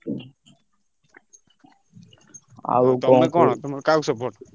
ତମେ କଣ ତମେ କାହାକୁ support କର?